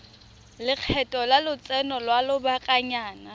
lekgetho la lotseno lwa lobakanyana